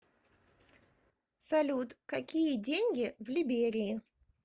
салют какие деньги в либерии